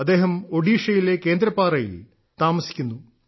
അദ്ദേഹം ഒഡീഷയിലെ കേന്ദ്രപാറയിൽ താമസിക്കുന്നു